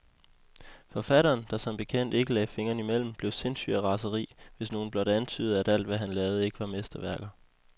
Forfatteren, der som bekendt ikke lagde fingrene imellem, blev sindssyg af raseri, hvis nogen blot antydede, at alt, hvad han lavede, ikke var mesterværker.